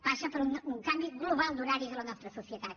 passa per un canvi global d’horaris en la nostra societat